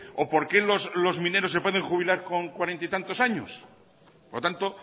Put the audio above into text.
o por qué los mineros se pueden jubilar con cuarenta y tantos años por lo tanto